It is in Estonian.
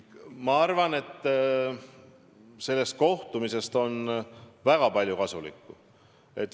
Ma arvan, et sain sellest kohtumisest kõrva taha panna väga palju kasulikku.